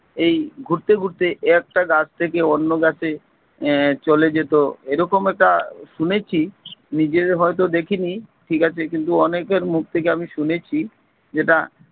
এই ঘুরতে ঘুরতে একটা গাছ থেকে অন্য গাছে আহ চলে যেত এরকম একটা শুনেছি নিজের হয়তো দেখিনি ঠিক আছে কিন্তু অনেকের মুখ থেকে আমি শুনেছি, যেটা